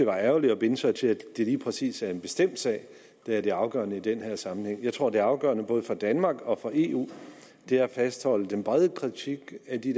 være ærgerligt at binde sig til at det lige præcis er en bestemt sag der er det afgørende i den her sammenhæng jeg tror at det afgørende både for danmark og for eu er at fastholde den brede kritik af de